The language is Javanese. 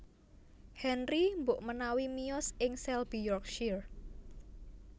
Henry mbokmanawi miyos ing Selby Yorkshire